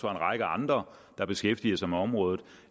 række andre der beskæftiger sig med området